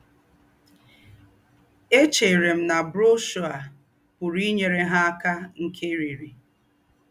Échèrè m na brọ́shọ̀ a pụ̀rù ínyèrè ha àká nkèrị́rị́.